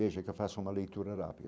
Veja que eu faço uma leitura rápida.